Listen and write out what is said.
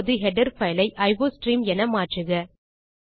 இப்போது header file ஐ iostream என மாற்றுக